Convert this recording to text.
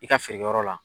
I ka feerekɛyɔrɔ la